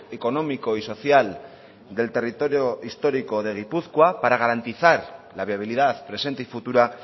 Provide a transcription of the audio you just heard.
económico y social del territorio histórico de gipuzkoa para garantizar la viabilidad presente y futura